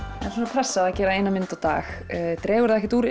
pressa að gera eina mynd á dag dregur það ekkert úr